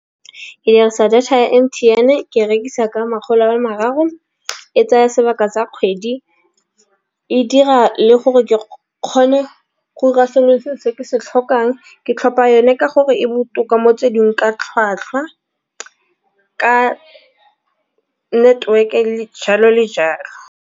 Ke dirisa data ya M_T_N ke rekisa ka makgolo a mararo e tsaya sebaka sa kgwedi. E dira le gore ke kgone go dira sengwe le sengwe se ke se tlhokang ke tlhopha yone ka gore e botoka motsweding ka tlhwatlhwa ka network e le jalo le jalo.